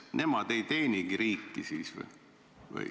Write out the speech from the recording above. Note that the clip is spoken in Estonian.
Kas nemad ei teenigi siis riiki?